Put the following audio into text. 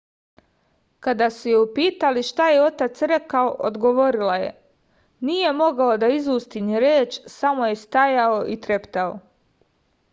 kada su je upitali šta je otac rekao odgovorila je nije mogao da izusti ni reč samo je stajao i treptao